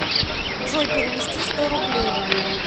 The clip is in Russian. джой перевести сто рублей